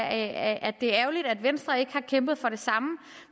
at det er ærgerlig at venstre ikke har kæmpet for det samme